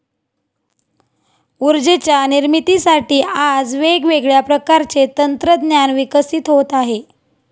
उर्जेच्या निर्मितीसाठी आज वेगवेगळ्या प्रकारचे तंत्रज्ञान विकसित होत आहे.